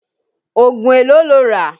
Ògùn èló lo rà?